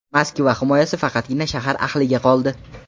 Moskva himoyasi faqatgina shahar ahliga qoldi.